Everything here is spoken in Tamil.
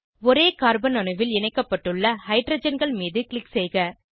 ஒரே கார்பன் அணுவில் இணைக்கப்பட்டுள்ள ஹைட்ரஜன்கள் மீது க்ளிக் செய்க